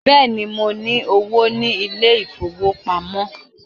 Bẹ́ẹ̀ni, mo ní owó ní ilé ìfowópamọ́